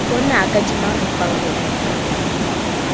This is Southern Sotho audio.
bo naka di maripa ho